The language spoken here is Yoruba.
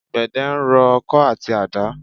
Àgbedẹ ń rọ ọkọ àti àdá.